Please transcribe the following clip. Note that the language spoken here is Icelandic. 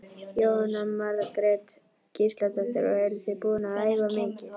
Jóhanna Margrét Gísladóttir: Og eruð þið búin að æfa mikið?